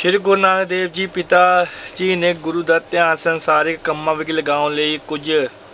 ਸ੍ਰੀ ਗੁਰੂ ਨਾਨਕ ਦੇਵ ਜੀ ਪਿਤਾ ਜੀ ਨੇ ਗੁਰੂ ਦਾ ਧਿਆਨ ਸੰਸਾਰਿਕ ਕੰਮਾਂ ਵਿੱਚ ਲਗਾਉਣ ਲਈ ਕੁੱਝ